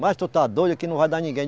Mas tu está doido, aqui não vai dar ninguém.